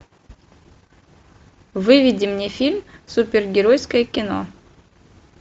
выведи мне фильм супергеройское кино